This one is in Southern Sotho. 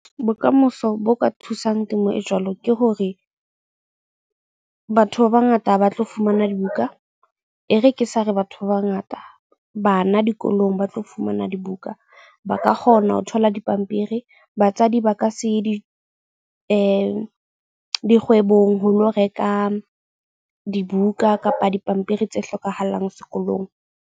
Bokamoso bo ka thusang temo e jwalo ke hore batho ba bangata ba tlo fumana dibuka. E re ke sa re batho ba bangata bana dikolong ba tlo fumana dibuka. Ba ka kgona ho thola dipampiri. Batswadi ba ka se ye di dikgwebong ho lo reka dibuka kapa dipampiri tse hlokahalang sekolong.